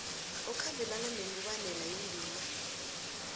okhambelana nemibandela yendima